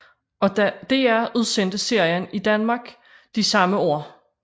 DR udsendte serien i Danmark de samme år